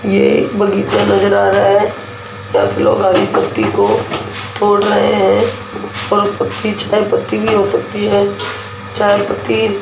ये एक बगीचा नजर आ रहा है जहाँ पे लोग हरी पत्ती को तोड़ रहे हैं और पत्ती चाय पत्ती भी हो सकती है चाय पत्ती --